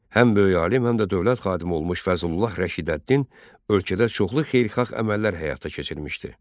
Həm böyük alim, həm də dövlət xadimi olmuş Fəzlullah Rəşidəddin ölkədə çoxlu xeyirxah əməllər həyata keçirmişdi.